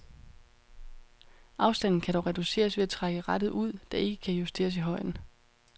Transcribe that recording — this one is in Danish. Afstanden kan dog reduceres ved at trække rattet ud, der ikke kan justeres i højden.